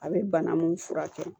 A bɛ bana mun furakɛ